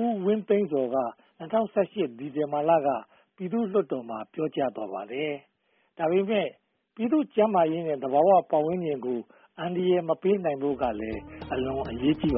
ဦးဝင်းသန့်ဇော်က ၂၀၁၈ ဒီဇင်ဘာလမှာ ပြည်သူ့လွှတ်တော်မှာ ပြောကြားသွားပါတယ်။ ဒါပေမဲ့ ပြည်သူ့ကျန်းမာရေးနဲ့ သဘာဝပတ်ဝန်းကျင်တို့ကို အန္တရာယ်မပေးနိုင်ဖို့ကလည်း အလွန်အရေးကြီးပါ